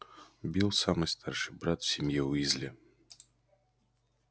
билл самый старший брат в семье уизли